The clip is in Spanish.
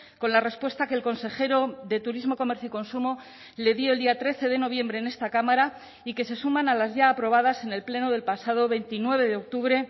con la respuesta que el consejero de turismo comercio y consumo le dio el día trece de noviembre en esta cámara y que se suman a las ya aprobadas en el pleno del pasado veintinueve de octubre